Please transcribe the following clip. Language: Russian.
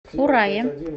урае